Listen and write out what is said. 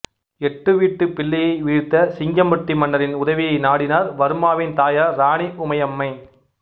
எட்டுவீட்டுப் பிள்ளையை வீழ்த்த சிங்கம்பட்டி மன்னரின் உதவியை நாடினார் வர்மாவின் தாயார் ராணி உமையம்மை